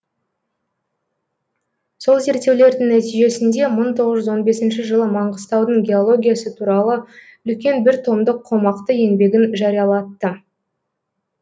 сол зерттеулердің нәтижесінде мың тоғыз жүз он бесінші жылы маңғыстаудың геологиясы туралы үлкен бір томдық қомақты еңбегін жариялатты